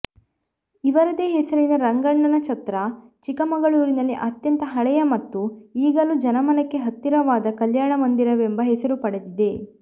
ಇವರದೇ ಹೆಸರಿನ ರಂಗಣ್ಣನ ಛತ್ರ ಚಿಕ್ಕಮಗಳೂರಿನಲ್ಲಿ ಅತ್ಯಂತ ಹಳೆಯ ಮತ್ತು ಈಗಲೂ ಜನಮನಕ್ಕೆ ಹತ್ತಿರವಾದ ಕಲ್ಯಾಣಮಂದಿರವೆಂಬ ಹೆಸರು ಪಡೆದಿದೆ